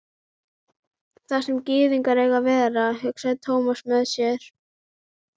Þar sem gyðingar eiga að vera, hugsaði Thomas með sér.